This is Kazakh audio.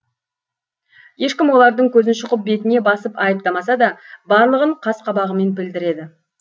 ешкім олардың көзін шұқып бетіне басып айыптамаса да барлығын қас қабағымен білдіреді